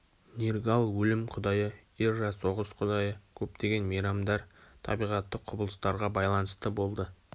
нергал өлім құдайы ирра соғыс құдайы көптеген мейрамдар табиғаттық құбылыстарға байланысты болды